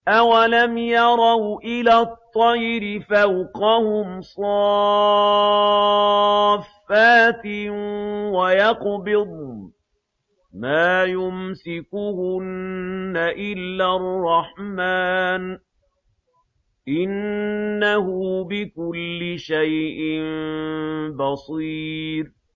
أَوَلَمْ يَرَوْا إِلَى الطَّيْرِ فَوْقَهُمْ صَافَّاتٍ وَيَقْبِضْنَ ۚ مَا يُمْسِكُهُنَّ إِلَّا الرَّحْمَٰنُ ۚ إِنَّهُ بِكُلِّ شَيْءٍ بَصِيرٌ